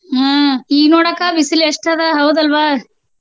ಹ್ಮ ಈಗ ನೋಡ ಅಕ್ಕ ಬಿಸಿಲು ಎಷ್ಟು ಅದ ಹೌದಲ್ವಾ?